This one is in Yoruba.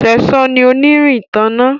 Sesan ní onirin ìtanná.